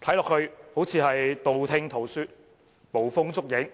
看起來就像是道聽塗說、捕風捉影般。